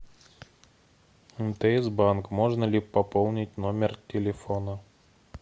мтс банк можно ли пополнить номер телефона